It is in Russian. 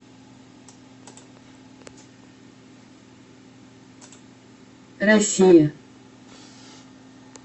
россия